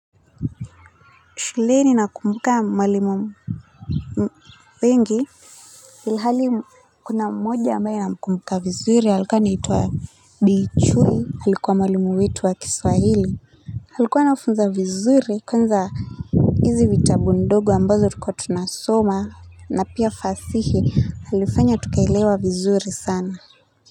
Shuleni nakumbuka mwalimu wengi ilhali kuna mmoja ambaye na kumkumbuka vizuri alikuwa anaituwa Bi Chui alikuwa mwalimu wetu wa kiswahili alikuwa anafunza vizuri kwanza hizi vitabu ndogo ambazo tulikuwa tunasoma na pia fasihi alifanya tukaielewa vizuri sana.